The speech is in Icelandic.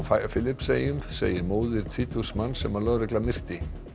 Filippseyjum segir móðir tvítugs manns sem lögregla myrti